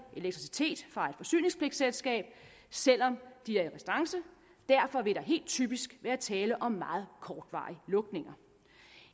elektricitet fra et forsyningspligtselskab selv om de er i restance derfor vil der helt typisk være tale om meget kortvarige lukninger